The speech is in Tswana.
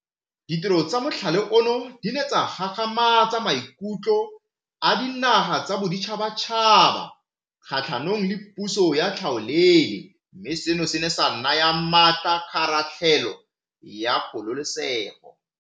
Ditiro tsa mothale ono di ne tsa gagamatsa maikutlo a dinaga tsa boditšhabatšhaba kgatlhanong le puso ya tlhaolele mme seno se ne sa naya maatla kgaratlhelo ya kgololesego.